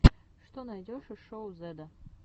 что найдешь из шоу зедда